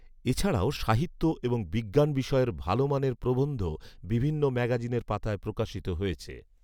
এছাড়াও সাহিত্য এবং বিজ্ঞান বিষয়ের ভালো মানের প্ৰবন্ধ বিভিন্ন ম্যাগাজিনের পাতায় প্রকাশিত হয়েছে